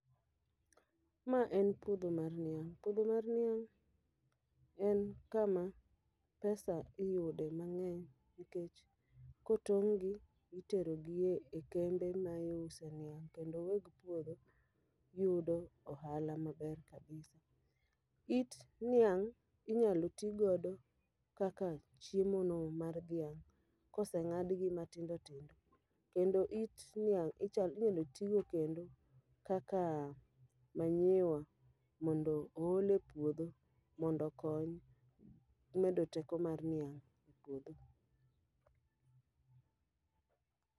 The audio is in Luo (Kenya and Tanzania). Ma en puodho mar niang' puodho mar niang' en kama pesa iyude mang'eny nikech kotong' gi, itero gi e kembe ma iuse niang'. Kendo weg puodho yudo ohala maber kabisa. It niang' inyalo ti gogo kaka chiemo no mar dhiang' koseng'adgi matindo tindo, kendo it niang' ichal inyalo togo kendo kaka manyiwa. Mondo ool e puodho mondo kony medo teko mar niang' e puodho.